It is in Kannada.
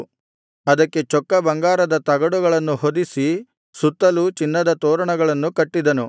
ಅದಕ್ಕೆ ಚೊಕ್ಕ ಬಂಗಾರದ ತಗಡುಗಳನ್ನು ಹೊದಿಸಿ ಸುತ್ತಲೂ ಚಿನ್ನದ ತೋರಣಗಳನ್ನು ಕಟ್ಟಿದನು